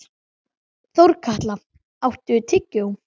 Þorkatla, áttu tyggjó?